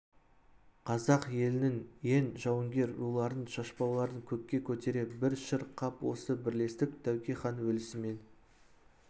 қазақ елінің ең жауынгер руларын шашпауларын көкке көтере бір шыр-қап осы бірлестік тәуке хан өлісімен